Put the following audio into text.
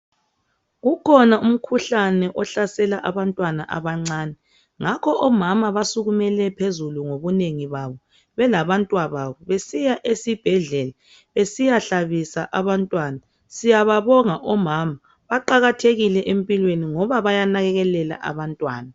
Kukhona umkhuhlane ohlasela abantwana abancane ngakho omama basukumele phezulu ngobunengi babo belabantwababo besiya esibhedlela besiyahlabisa abantwana siyababonga omama baqakathekile empilweni ngoba bayanakekela abantwana.